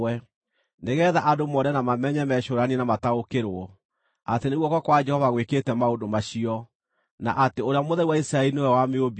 nĩgeetha andũ mone na mamenye, mecũũranie na mataũkĩrwo, atĩ nĩ guoko kwa Jehova gwĩkĩte maũndũ macio, na atĩ Ũrĩa Mũtheru wa Isiraeli nĩwe wamĩũmbire.”